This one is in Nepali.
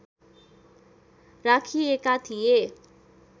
राखिएका थिए